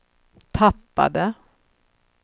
tappade